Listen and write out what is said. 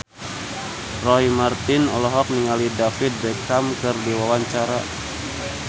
Roy Marten olohok ningali David Beckham keur diwawancara